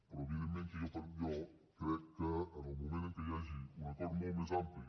però evidentment que jo crec que en el moment en que hi hagi un acord molt més ampli